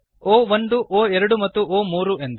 ಒ1 ಒ2 ಮತ್ತು o3ಎಂದು